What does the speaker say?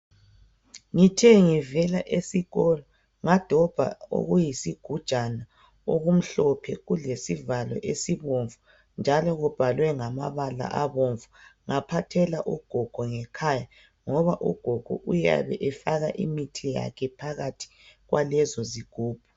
ngithe ngivela esikolo ngadobha okuyisigujana okumhlophe kulesivalo esibomvu njalo kubhalwe ngamabala obomvu ngaphathela ugogo ngekhaya ngoba ugogo uyabe efaka imithi yakhe phakathi kwalezo zigubhu